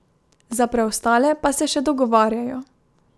Za preostale pa se še dogovarjajo.